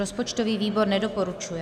Rozpočtový výbor nedoporučuje.